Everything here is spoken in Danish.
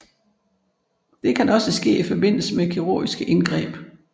Det kan også ske i forbindelse med kirurgiske indgreb